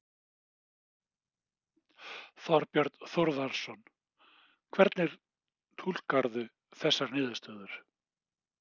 Þorbjörn Þórðarson: Hvernig túlkarðu þessar niðurstöður?